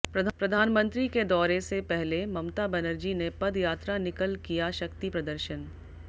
प्रधानमंत्री के दौरे से पहले ममता बनर्जी ने पद यात्रा निकल किया शक्ति प्रदर्शन